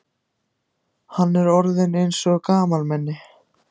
Hann er orðinn eins og gamalmenni.